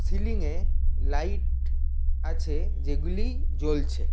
Ceiling -এ light আছে যেগুলি জ্বলছে।